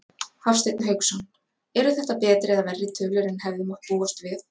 Hafsteinn Hauksson: Eru þetta betri eða verri tölur en hefði mátt búast við?